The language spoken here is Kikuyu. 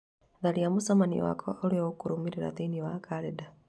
tharia mũcemanio wakwa ũrĩa ũkũrũmĩrĩra thĩinĩ wa kalendarĩ